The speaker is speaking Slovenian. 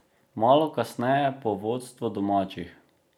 Malo kasneje pa vodstvo domačih.